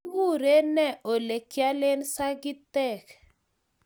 Kigureen ne olegiale sagitek?